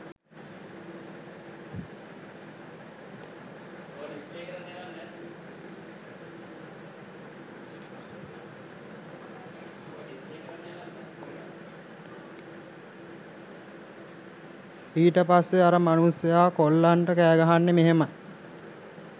ඊට පස්සෙ අර මනුස්සයා කොල්ලන්ට කෑගහන්නෙ මෙහෙමයි